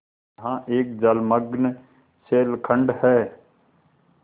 यहाँ एक जलमग्न शैलखंड है